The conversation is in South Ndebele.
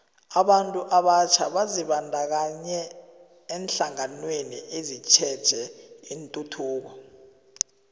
abantu abatjha bazibandakanye eenhlanganweni ezitjheje ituthuko